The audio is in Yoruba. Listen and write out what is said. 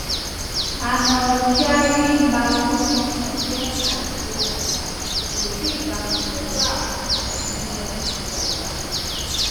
arnold chiari malformation jẹ àìṣédàgbà kò sí ìbámu pẹlu awọn àìníwọn ìdàgbà